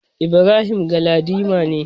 Ibrahim Galadima ne.